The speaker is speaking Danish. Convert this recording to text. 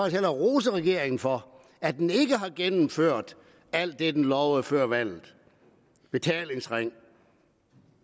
hellere rose regeringen for at den ikke har gennemført alt det den lovede før valget betalingsring